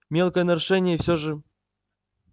мелкое нарушение и все же